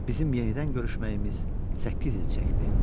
Bizim yenidən görüşməyimiz səkkiz il çəkdi.